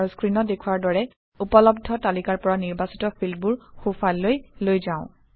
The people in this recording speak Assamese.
আৰু স্ক্ৰীনত দেখুওৱাৰ দৰে উপলব্ধ তালিকাৰ পৰা নিৰ্বাচিত ফিল্ডবোৰ সোঁফাললৈ লৈ যাম